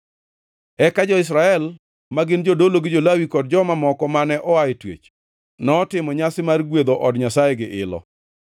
Eka jo-Israel, ma gin jodolo, jo-Lawi kod joma moko mane oa e twech notimo nyasi mar gwedho od Nyasaye gi ilo.